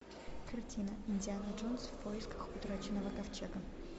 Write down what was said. картина индиана джонс в поисках утраченного ковчега